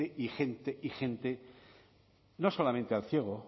y gente y gente no solamente al elciego